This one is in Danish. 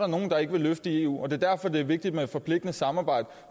nogle der ikke vil løfte i eu det er derfor det er vigtigt med et forpligtende samarbejde